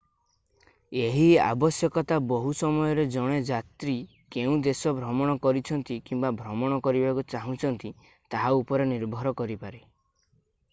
ଏହି ଆବଶ୍ୟକତା ବହୁ ସମୟରେ ଜଣେ ଯାତ୍ରୀ କେଉଁ ଦେଶ ଭ୍ରମଣ କରିଛନ୍ତି କିମ୍ବା ଭ୍ରମଣ କରିବାକୁ ଚାହୁଁଛନ୍ତି ତାହା ଉପରେ ନିର୍ଭର କରିପାରେ